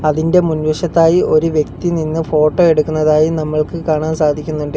അതിന്റെ മുൻ വശത്തായി ഒരു വ്യക്തി നിന്ന് ഫോട്ടോ എടുക്കുന്നതായും നമ്മൾക്ക് കാണാൻ സാധിക്കുന്നുണ്ട്.